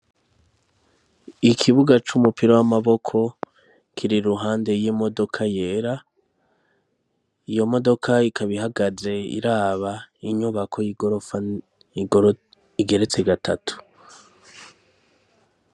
Ikibuga c'umupira w'amaboko kiri iruhande y'imodoka yera. Iyo modoka ikaba ihagaze iraba inyubako y'igorofa igeretse gatatu.